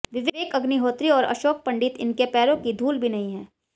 विवेक अग्निहोत्री और अशोक पंडित इनके पैरों की धूल भी नहीं हैं